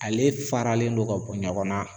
Ale faralen don ka bɔ ɲɔgɔn na.